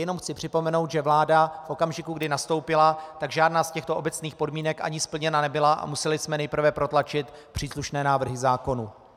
Jen chci připomenout, že vláda v okamžiku, kdy nastoupila, tak žádná z těchto obecných podmínek ani splněna nebyla a museli jsme nejprve protlačit příslušné návrhy zákonů.